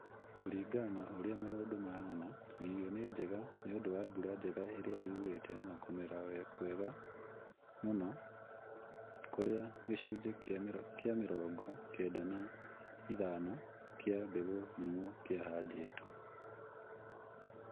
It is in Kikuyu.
Kũringana na ũrĩa maũndũ mahana, irio nĩ njega nĩũndũ wa mbura njega ĩrĩa yurĩte na kũmera kwega mũno kũrĩa gĩcunjĩ kĩa mĩrongo kenda na ithano kĩa mbegũ nyũmũ kĩahandĩtwo